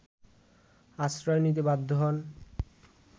আশ্রয় নিতে বাধ্য হন